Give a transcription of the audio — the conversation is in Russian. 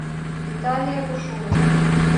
виталия бушуева